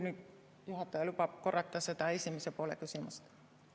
Ehk juhataja lubab korrata seda küsimuse esimest poolt.